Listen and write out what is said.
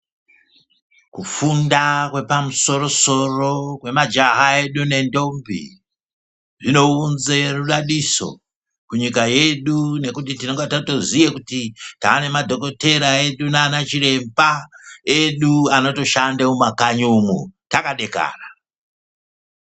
Kufunda kwepamusoro soro kwemajaha edu nendombi zvinounze rudadiso kunyika yedu nekuti tinonga tatoziye kuti tane madhokoteya edu nana chiremba edu anotoshande mumakanyi umu takadekara.